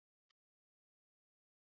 Þetta var skrítinn texti!